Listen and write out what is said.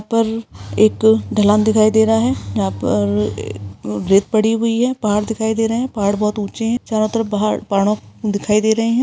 ऊपर एक ढलान दिखाई दे रहा है यहाँ पर अ रेत पड़ी हुई है पहाड़ दिखाई दे रहें हैं पहाड़ बहोत ऊंचे हैं चारों तरफ पहाड़ पहाड़ों दिखाई दे रहें हैं।